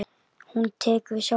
Hún tekur við sjálfri sér.